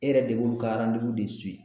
E yɛrɛ de b'olu ka de